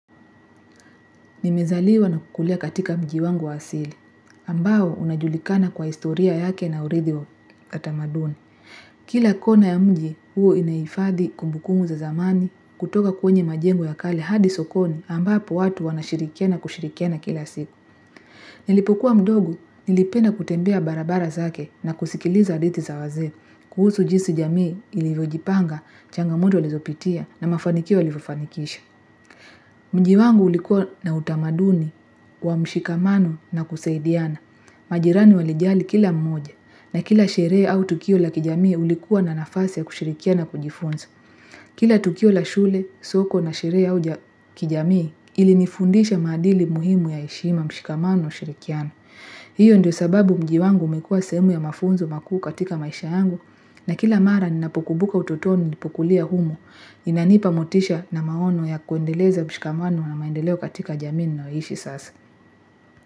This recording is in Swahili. Nimezaliwa na kukulia katika mji wangu wa asili, ambao unajulikana kwa istoria yake na uridhi wa katamaduni. Kila kona ya mji, huo inaifadhi kumbukumu za zamani kutoka kwenye majengu ya kali hadi sokoni ambapo watu wanashirikena kushirikena kila siku. Nilipokuwa mdogu, nilipena kutembea barabara zake na kusikiliza aditi za waze, kuhusu jinsi jamii ilivyojipanga, changamodo lizo pitia na mafanikiwa livofanikisha. Mji wangu ulikuwa na utamaduni wa mshikamano na kuseidiana. Majirani walijali kila mmoja na kila sheree au tukio la kijamii ulikuwa na nafasi ya kushirikia na kujifunzo. Kila tukio la shule, soko na sheree au kijamii ilinifundisha madili muhimu ya ishima mshikamano na shirikiano. Hiyo ndio sababu mjiwangu mekua semu ya mafunzo makuu katika maisha yangu na kila mara ninapukubuka ututonu nipukulia humo inanipa motisha na maono ya kuendeleza mshikamwano na maendeleo katika jaminu na oishi sasa.